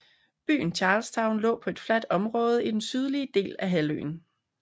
Byen Charlestown lå på et fladt område i den sydlige del af halvøen